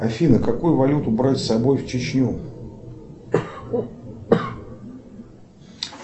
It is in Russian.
афина какую валюту брать с собой в чечню